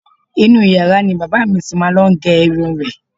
Inú u yàrá ni bàbá à mi ti máa ń lo ìgẹrun rẹ̀.